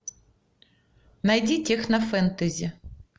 найди техно фэнтези